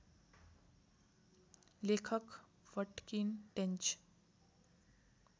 लेखक वटकिन टेन्च